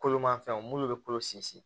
Kolomanfɛnw minnu bɛ kolo sinsin